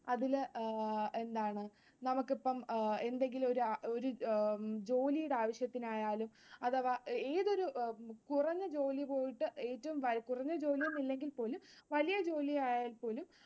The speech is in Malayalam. അതില് എന്താണ് നമുക്കിപ്പം എന്തെങ്കിലും ഒരു ജോലീടെ ആവശ്യത്തിനായാലും അഥവാ ഏതൊരു കുറഞ്ഞ ജോലി പോയിട്ട്‌ ഏറ്റവും കുറഞ്ഞ ജോലിയൊന്നുമില്ലെങ്കിൽ വലിയ ജോലിയായാൽ പോലും